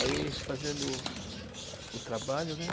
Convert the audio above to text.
Aí fazendo o trabalho, né?